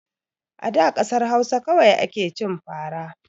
A da kasar Hausa kawai ake cin fara